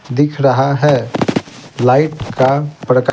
दिख रहा है लाइट का प्रक--